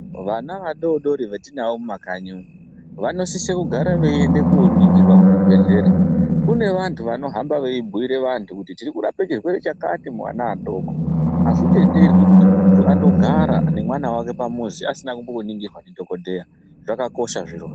Vana vadodori vetinawo mumakanyi umu vanosise kugara veiende koningirwa kuzvibhedhlera kune vantu vanohamba veibhiire vantu kuti tikurape chirwere chakati muana adoko azvitenderwi kuti muntu andogara nemwana wake pamuzi asina kumboningirwa ndidhokodheya zvakakosha zvirozvo.